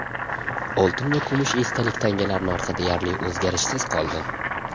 Oltin va kumush esdalik tangalar narxi deyarli o‘zgarishsiz qoldi.